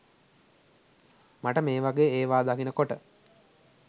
මට මේ වගෙ ඒවා දකින කොට